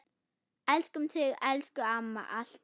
Elskum þig, elsku amma, alltaf.